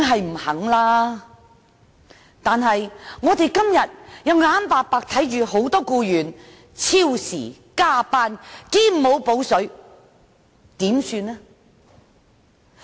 不過，我們今天卻眼睜睜看到很多僱員超時工作而沒有"補水"。